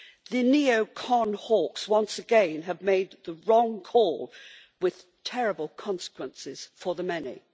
The neo conservative hawks once again have made the wrong call, with terrible consequences for the many.